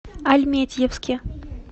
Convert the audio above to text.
альметьевске